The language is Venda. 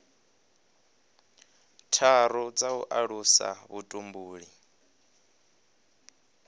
tharu dza u alusa vhutumbuli